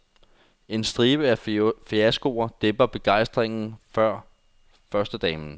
En stribe af fiaskoer dæmper begejstringen for førstedamen.